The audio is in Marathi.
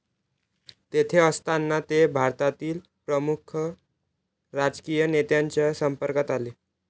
तेथे असताना ते भारतातील प्रमुख राजकीय नेत्यांच्या संपर्कात आले